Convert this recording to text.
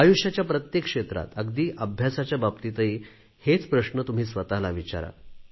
आयुष्याच्या प्रत्येक क्षेत्रात अगदी अभ्यासाच्या बाबतीतही हेच प्रश्न तुम्ही स्वतला विचारा